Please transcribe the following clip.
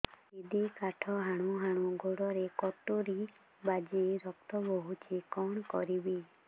ଦିଦି କାଠ ହାଣୁ ହାଣୁ ଗୋଡରେ କଟୁରୀ ବାଜି ରକ୍ତ ବୋହୁଛି କଣ କରିବି